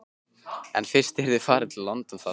En fyrst yrði farið til London þar sem